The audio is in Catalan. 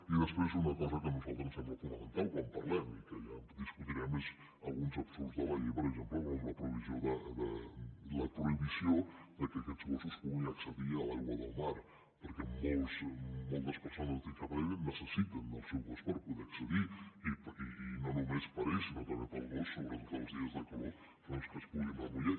i després una cosa que a nosaltres ens sembla fonamental quan parlem i que ja discutirem són alguns absurds de la llei per exemple com la prohibició que aquests gossos puguin accedir a l’aigua del mar perquè moltes persones discapacitades necessiten el seu gos per poder hi accedir i no només per a ells sinó també per al gos sobretot els dies de calor doncs que es puguin remullar